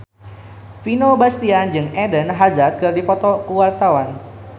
Vino Bastian jeung Eden Hazard keur dipoto ku wartawan